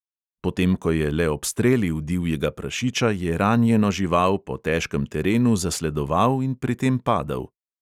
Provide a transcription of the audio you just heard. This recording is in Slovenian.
Potem ko je le obstrelil divjega prašiča, je ranjeno žival po težkem terenu zasledoval in pri tem padel.